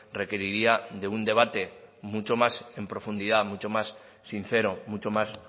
requeriría de un debate mucho más en profundidad mucho más sincero mucho más